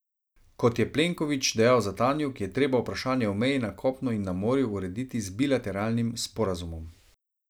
Kot je Plenković dejal za Tanjug, je treba vprašanje o meji na kopnu in na morju urediti z bilateralnim sporazumom.